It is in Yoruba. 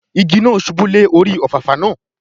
Igi náà ṣubú lé orí Òfàfà náà